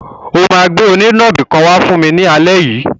O máa gbé onínàbì kan wá fún mi ní alẹ́ yìí.